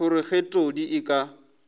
gore ge todi a ka